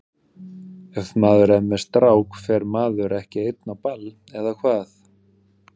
Ef maður er með strák fer maður ekki einn á ball, eða hvað?